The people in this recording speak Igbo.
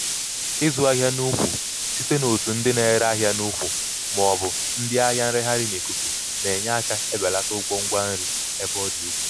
ịzụ ahịa n'ukwu site n'otu ndị na-ere ahịa n'ukwu ma ọ bụ ndị ahịa nreghaghị n'ikuku na-enye aka ebelata ụgwọ ngwa nri ebe ọ dị ukwuu.